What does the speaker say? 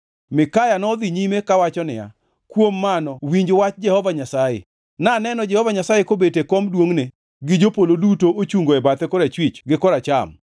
Mikaya nodhi nyime kawacho niya, “Kuom mano winj wach Jehova Nyasaye: Naneno Jehova Nyasaye kobet e kom duongʼne gi jopolo duto ochungo e bathe korachwich gi koracham.